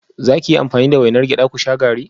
Za ki yi amfani da wainar gyada ku sha garri?